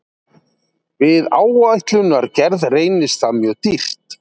Við áætlunargerð reynist það mjög dýrt.